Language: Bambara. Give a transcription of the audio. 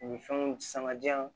U ni fɛnw sanga diya